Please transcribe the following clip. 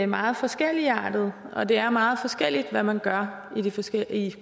meget forskelligartede og det er meget forskelligt hvad man gør i de forskellige